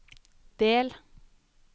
del